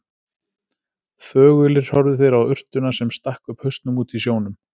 Þögulir horfðu þeir á urtuna, sem stakk upp hausnum úti í sjónum.